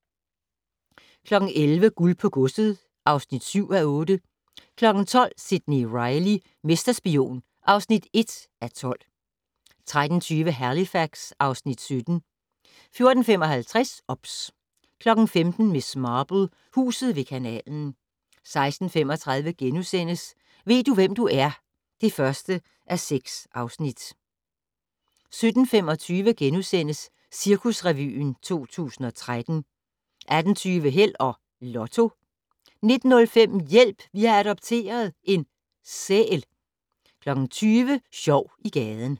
11:00: Guld på godset (7:8) 12:00: Sidney Reilly - mesterspion (1:12) 13:20: Halifax (Afs. 17) 14:55: OBS 15:00: Miss Marple: Huset ved kanalen 16:35: Ved du, hvem du er? (1:6)* 17:25: Cirkusrevyen 2013 * 18:20: Held og Lotto 19:05: Hjælp! Vi har adopteret en - sæl 20:00: Sjov i gaden